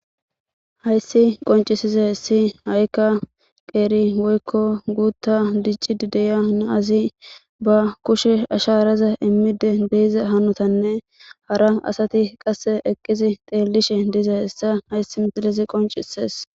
Hayssi qoncisize hessi ha7ikka qeeri woykko guutta dicci dideya naazi ba kushe asha araza immide deeiza hanotanne hara asati qasse eqqizi teellishe diiza hessa hayssi misilizi qoncisees